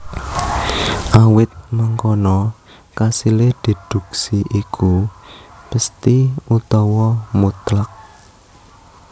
Awit mangkono kasilé déduksi iku pesthi utawa mutlak